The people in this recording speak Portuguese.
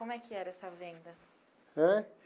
Como é que era essa venda? Ãh.